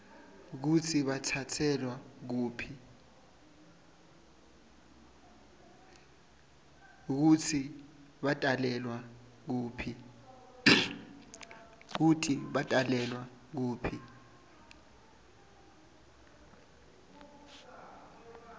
kutsi batalelwa kuphi